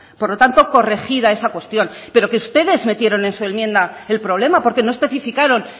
por lo tanto corregida esa cuestión pero que ustedes metieron en su enmienda el problema porque no especificaron